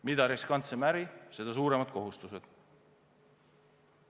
Mida riskantsem äri, seda suuremad kohustused.